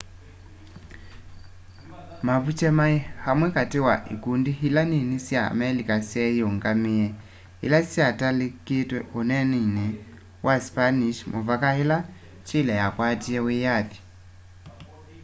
mapũche maĩ amwe katĩ wa ĩkũndĩ ĩla nĩnĩ sya amelika syeyĩũngamĩe ĩla syitalikitwe ũnenĩnĩ wa spanish muvaka ila chĩle yakwatie wĩyathĩ